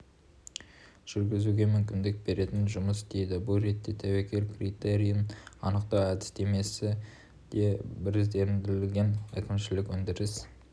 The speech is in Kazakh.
жүргізуге мүмкіндік беретін жұмыс істейді бұл ретте тәуекел критерийін анықтау әдістемесі де біріздендірілген әкімшілік өндіріс